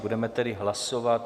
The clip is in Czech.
Budeme tedy hlasovat.